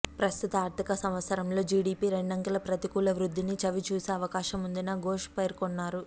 ప్రస్తుత ఆర్థిక సంవత్సరంలో జీడీపీ రెండకెల ప్రతికూల వృద్థిని చవిచూసే అవకాశం ఉందని ఘోష్ పేర్కొన్నారు